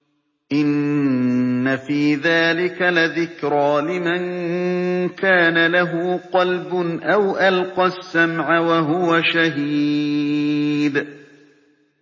إِنَّ فِي ذَٰلِكَ لَذِكْرَىٰ لِمَن كَانَ لَهُ قَلْبٌ أَوْ أَلْقَى السَّمْعَ وَهُوَ شَهِيدٌ